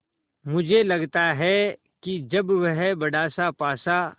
मुझे लगता है कि जब वह बड़ासा पासा